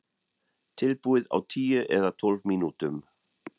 Tilbúið á tíu eða tólf mínútum.